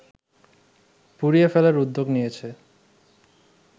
পুড়িয়ে ফেলার উদ্যোগ নিয়েছে